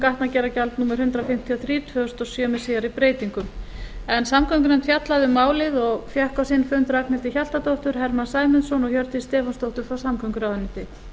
gatnagerðargjald númer hundrað fimmtíu og þrjú tvö þúsund og sjö með síðari breytingum samgöngunefnd hefur fjallað um málið og fengið á sinn fund ragnhildi hjaltadóttur hermann sæmundsson og hjördísi stefánsdóttur frá samgönguráðuneyti